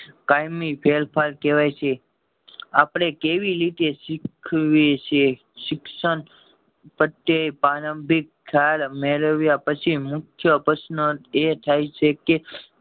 કાયમી ફેરફાર કેવાય છે આપડે કેવી રીતે શીખવી છે શિક્ષણ પ્રત્યે પ્રારંભિક ખ્યાલ મેળવ્યા પછી મુખ્ય પ્રશ્ન એ થાય છે કે